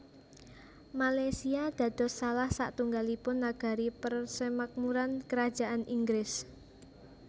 Malaysia dados salah satunggalipun negari persemakmuran karajan Inggris